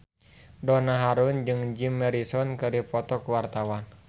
Donna Harun jeung Jim Morrison keur dipoto ku wartawan